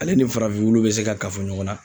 Ale ni farafin wuluw be se ka kafo ɲɔgɔn na